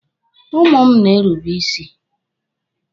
Ụmụ m na-erube isi.